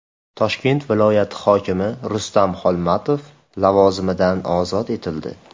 Toshkent viloyati hokimi Rustam Xolmatov lavozimidan ozod etildi.